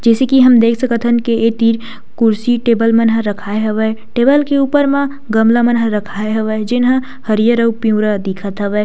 जैसे की हम देख सकत हन ये तीर कुर्सी टेबल मन राखए हवे टेबल के ऊपर म गमला मन ह राखए हवे जिन्हा हरियर और पिउरा दिखत हवे --